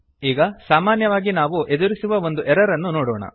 ಈಗ ಸಾಮಾನ್ಯವಾಗಿ ನಾವು ಎದುರಿಸುವ ಒಂದು ಎರರ್ ಅನ್ನು ನೋಡೋಣ